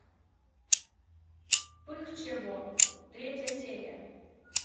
пых чего третья серия